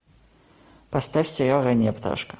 поставь сериал ранняя пташка